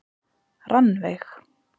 Rannveig